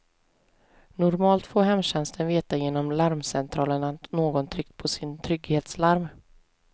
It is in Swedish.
Normalt får hemtjänsten veta genom larmcentralen att någon tryckt på sitt trygghetslarm.